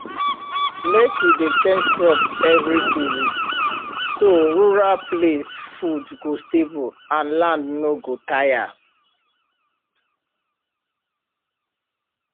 mek we dey change crop every season so rural place food go stable and land no go tire